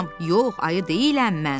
Yox, ayı deyiləm mən.